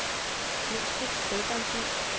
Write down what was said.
Glostrup Spædbørnshjem